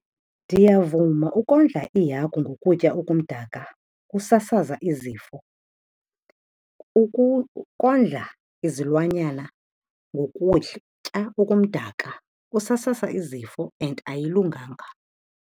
Ndiyavuma ukondla iihagu ngokutya okumdaka kusasaza izifo. Ukondla izilwanyana ngokutya okumdaka kusasaza izifo and ayilunganga.